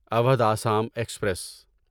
Awadh Assam express